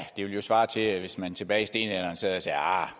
det ville svare til hvis man tilbage i stenalderen sad og sagde ahr